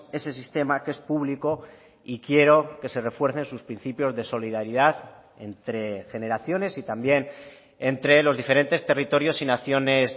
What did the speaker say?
ese sistema que es público y quiero que se refuercen sus principios de solidaridad entre generaciones y también entre los diferentes territorios y naciones